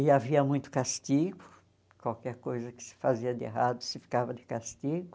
E havia muito castigo, qualquer coisa que se fazia de errado se ficava de castigo.